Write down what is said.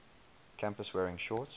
campus wearing shorts